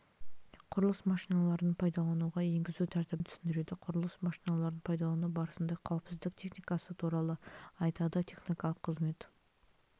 құрылыс машиналарын пайдалануға енгізу тәртібін түсіндіреді құрылыс машиналарын пайдалану барысында қауіпсіздік техникасы туралы айтады техникалық қызмет